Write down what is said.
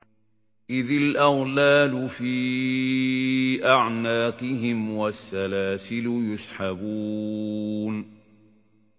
إِذِ الْأَغْلَالُ فِي أَعْنَاقِهِمْ وَالسَّلَاسِلُ يُسْحَبُونَ